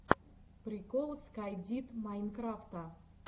прикол скай дид майнкрафта